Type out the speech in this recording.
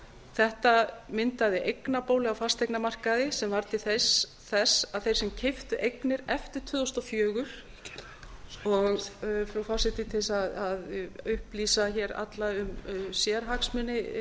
þetta myndaði eignabólu á fasteignamarkaði sem varð til þess að þeir sem keyptu eignir tvö þúsund og fjögur og frú forseti til þess að upplýsa hér alla um sérhagsmuni